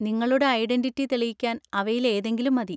നിങ്ങളുടെ ഐഡന്‍റിറ്റി തെളിയിക്കാൻ അവയിലേതെങ്കിലും മതി.